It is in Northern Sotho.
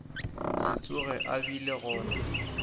se tsoge a bile gona